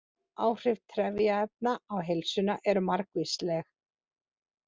Áhrif trefjaefna á heilsuna eru margvísleg.